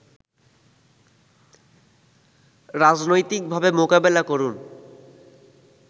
রাজনৈতিকভাবে মোকাবেলা করুন